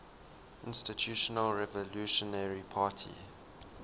institutional revolutionary party